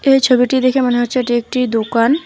এই ছবিটি দেখে মনে হচ্ছে এটি একটি দোকান।